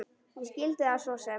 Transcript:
Ég skildi það svo sem.